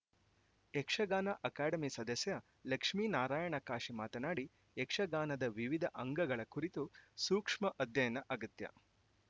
Yakshagana academy ಸದಸ್ಯ ಲಕ್ಷ್ಮೇನಾರಾಯಣ ಕಾಶಿ ಮಾತನಾಡಿ ಯಕ್ಷಗಾನದ ವಿವಿಧ ಅಂಗಗಳ ಕುರಿತು ಸೂಕ್ಷ್ಮ ಅಧ್ಯಯನ ಅಗತ್ಯ